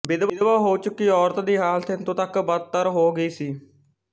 ਵਿਧਵਾ ਹੋ ਚੁੱਕੀ ਔਰਤ ਦੀ ਹਾਲਤ ਇਥੋਂ ਤੱਕ ਬਦਤਰ ਹੋ ਗਈ ਸੀ